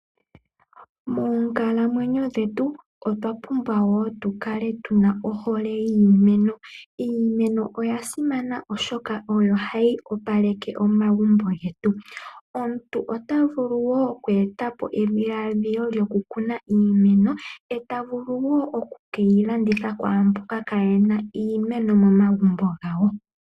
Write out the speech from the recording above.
Moonkalamwenyo dhetu otwa pumbwa wo tukale tuna ohole yiimeno yetu . Iimeno oya simana oshoka oyo hayi opaleke omagumbo getu . Omuntu ota vulu wo oku etapo edhiladhilo lyoku kuna iimeno eta vulu woo oku keyi landitha kwaamboka kaayena iimeno momagumbo gawo .